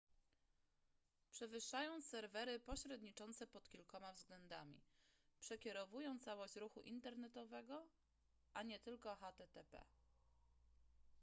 przewyższają serwery pośredniczące pod kilkoma względami przekierowują całość ruchu internetowego a nie tylko http